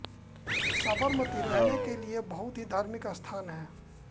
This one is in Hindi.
साबरमती रहने के लिए बहुत ही धार्मिक स्थान है